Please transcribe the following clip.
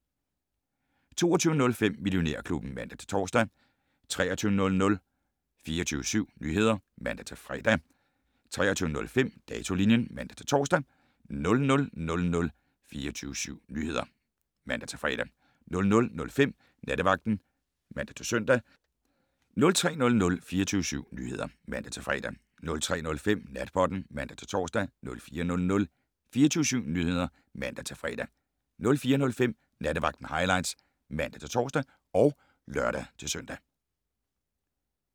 22:05: Millionærklubben (man-tor) 23:00: 24syv Nyheder (man-fre) 23:05: Datolinjen (man-tor) 00:00: 24syv Nyheder (man-fre) 00:05: Nattevagten (man-søn) 03:00: 24syv Nyheder (man-fre) 03:05: Natpodden (man-tor) 04:00: 24syv Nyheder (man-fre) 04:05: Nattevagten Highlights (man-tor og lør-søn)